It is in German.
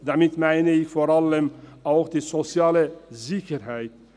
Damit meine ich vor allem auch die soziale Sicherheit.